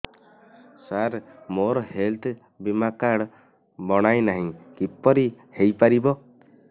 ସାର ମୋର ହେଲ୍ଥ ବୀମା କାର୍ଡ ବଣାଇନାହିଁ କିପରି ହୈ ପାରିବ